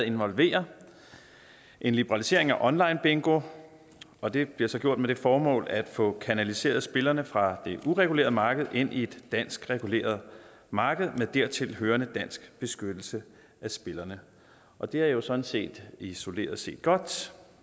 involverer en liberalisering af online bingo og det bliver så gjort med det formål at få kanaliseret spillerne fra det uregulerede marked ind i et dansk reguleret marked med dertil hørende dansk beskyttelse af spillerne og det er jo sådan set isoleret set godt